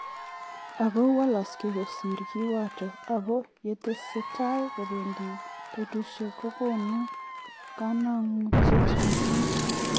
Ako walaksei kosir kiwato ako yetese tai kopendi betushek ko konu kanagut mising.